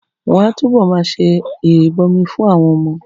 Wọ́n á túbọ̀ ma ṣe ìrìbọmi fún àwọn ọmọ